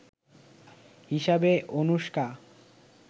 হিসেবে অনুশকা